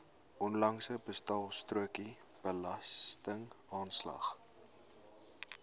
onlangse betaalstrokie belastingaanslag